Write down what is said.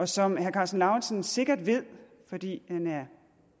som herre karsten lauritzen sikkert ved fordi han er